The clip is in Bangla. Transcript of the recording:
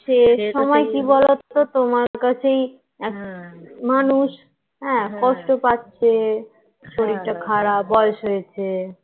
আর শেষ সময়ে কি বলোতো তোমার কাছেই মানুষ হ্যাঁ কষ্ট পাচ্ছে শরীরটা খারাপ বয়স হয়েছে,